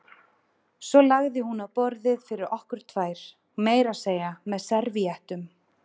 Svo lagði hún á borðið fyrir okkur tvær, meira að segja með servíettum.